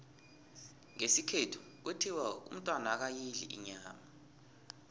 ngesikhethu kuthiwa umntwana akayidli inyama